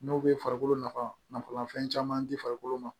N'o bɛ farikolo nafa nafa caman di farikolo ma